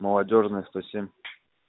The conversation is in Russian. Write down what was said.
молодёжная сто семь